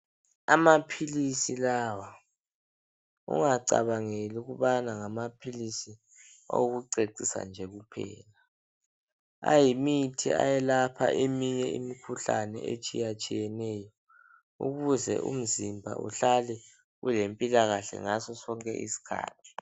Amaphilisi lawa ungacabangeli ukubana ngamaphilisi okucecisa nje kuphela. Ayimithi ayelapha eminye imikhuhlane etshiyatshiyeneyo ukuze umzimba uhlale ulempilakahle ngaso sonke isikhathi.